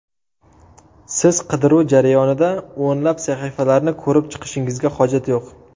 Siz qidiruv jarayonida o‘nlab sahifalarni ko‘rib chiqishingizga hojat yo‘q.